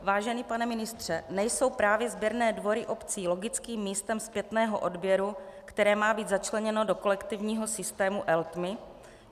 Vážený pane ministře, nejsou právě sběrné dvory obcí logickým místem zpětného odběru, které má být začleněno do kolektivního systému Eltma?